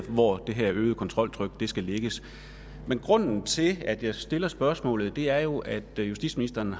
hvor det her øgede kontroltryk skal lægges men grunden til at jeg stiller spørgsmålet er jo at justitsministeren